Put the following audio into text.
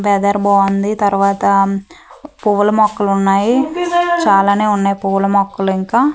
weather బాగుంది తర్వాత పూల మొక్కలు ఉన్నాయి చాలానే ఉన్నాయి పూల మొక్కలు ఇంకా--